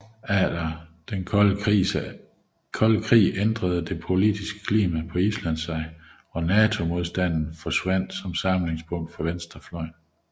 Efter den kolde krigs ændrede det politiske klima på Island sig og NATO modstanden forsvandt som samlingspunkt for venstrefløjen